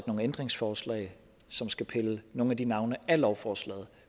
nogle ændringsforslag som skal pille nogle af de navne af lovforslaget